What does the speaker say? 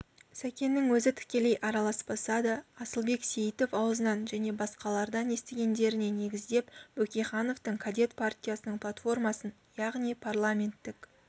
сәкеннің өзі тікелей араласпаса да асылбек сейітов аузынан және басқалардан естігендеріне негіздеп бөкейхановтың кадет партиясының платформасын яғни парламенттік